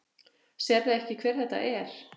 Sérðu ekki hver þetta er?